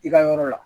I ka yɔrɔ la